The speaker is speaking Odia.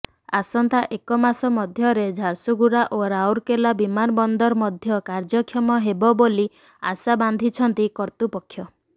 ଆସନ୍ତା ଏକମାସ ମଧ୍ୟରେ ଝାରସୁଗୁଡ଼ା ଓ ରାଉରକେଲା ବିମାନବନ୍ଦର ମଧ୍ୟ କାର୍ଯ୍ୟକ୍ଷମ ହେବ ବୋଲି ଆଶା ବାନ୍ଧିଛନ୍ତି କର୍ତ୍ତୃପକ୍ଷ